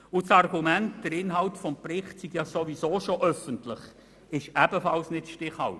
Das Argument, der Inhalt des Berichts sei sowieso schon öffentlich, ist ebenfalls nicht stichhaltig.